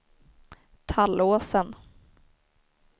Tallåsen